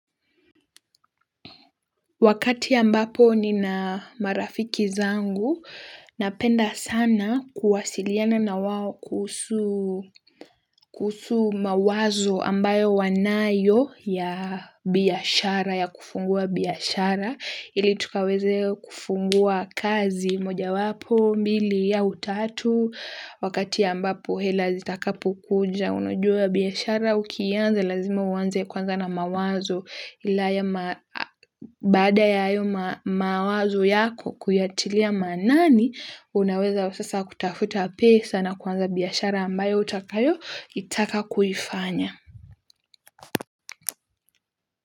Wakati ambapo ni na marafiki zangu, napenda sana kuwasiliana na wao kuhusu kusu mawazo ambayo wanayo ya biyashara, ya kufungua biyashara. Ili tukaweze kufungua kazi moja wapo mbili au tatu wakati ambapo hela zitakapo kuja unajua biashara ukianza lazima uanze kwanza na mawazo ila baada ya hayo mawazo yako kuyatilia maanani unaweza sasa kutafuta pesa na kwanza biashara ambayo utakayo taka kufanya.